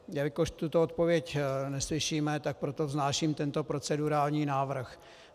Jelikož tuto odpověď neslyšíme, tak proto vznáším tento procedurální návrh.